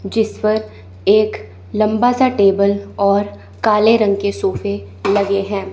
जिस पर एक लंबा सा टेबल और काले रंग के सोफे लगे हैं।